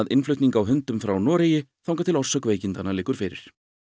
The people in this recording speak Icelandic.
innflutning á hundum frá Noregi þangað til orsök veikindanna liggur fyrir